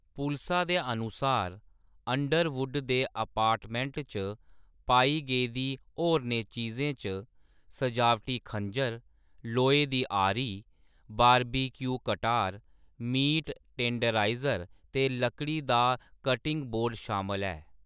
पुलसा दे अनुसार, अंडरवुड दे अपार्टमेंट च पाई गेदी होरनें चीजें च सजावटी खंजर, लोहे दी आरी, बारबेक्यू कटार, मीट टेंडराइजर ते लकड़ी दा कटिंग बोर्ड शामल ऐ।